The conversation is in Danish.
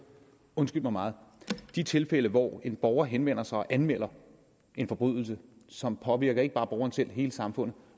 undskyld mig de tilfælde hvor en borger henvender sig og anmelder en forbrydelse som påvirker ikke bare borgeren selv men hele samfundet